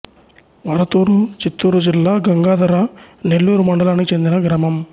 వరతూరు చిత్తూరు జిల్లా గంగాధర నెల్లూరు మండలానికి చెందిన గ్రామం